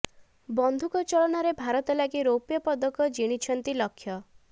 ବନ୍ଧୁକ ଚଳନାରେ ଭାରତ ଲାଗି ରୌପ୍ୟ ପଦକ ଜିଣିଛନ୍ତି ଲକ୍ଷ୍ୟ